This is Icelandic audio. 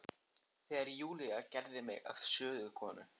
Þegar Júlía gerði mig að sögukonu.